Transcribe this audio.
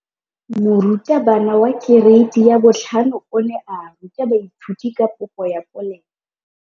Moratabana wa kereiti ya 5 o ne a ruta baithuti ka popô ya polelô.